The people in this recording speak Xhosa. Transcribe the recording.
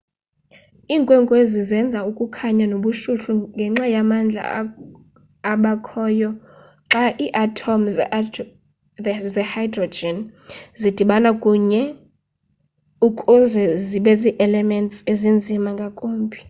iinkwenkwezi zenza ukukhanya nobushushu ngenxa yamandla abakhoyo xa iiathom ze-hydrogen zidibana kunye ukuze zibe zi-elements ezinzima ngakumbi